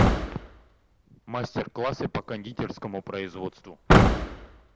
мастер классы по кондитерскому производству